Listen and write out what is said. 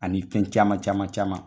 Ani fɛn caman caman caman.